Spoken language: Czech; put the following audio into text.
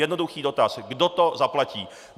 Jednoduchý dotaz - kdo to zaplatí?